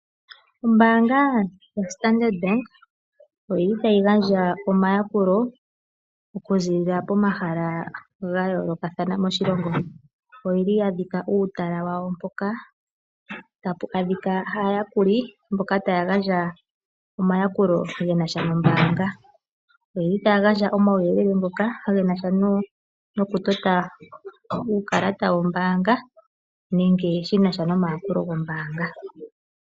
Ombaanga yaStandard Bank otayi gandja omayakulo okuziilila pomahala ga yoolokathana moshilongo. Oya dhika uutala wawo mpoka tapu adhika aayakuli mboka taya gandja omayakulo ge na sha nombaanga. Otaya gandja omauyelele ge na sha nokutota uukalata wombaanga nenge ge na sha nomayakulo gombaanga.